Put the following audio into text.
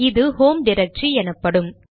இது home directory எனப்படும்